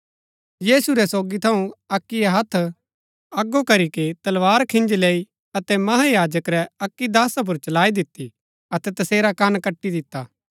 यीशु रै सोगी थऊँ अक्कीयै हत्थ अगो करी कै तलवार खिन्जी लैई अतै महायाजक रै अक्की दासा पुर चलाई दिती अतै तसेरा कन कटी दिता